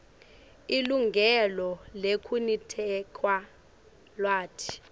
lilungelo lekuniketa lwati